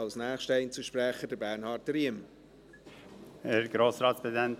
Als nächster Einzelsprecher hat Bernhard Riem das Wort.